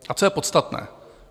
A co je podstatné?